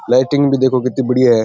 Lighting भी देखो किती बढ़िया है।